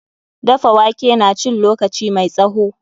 Dafa wake na cin lokaci mai tsawo.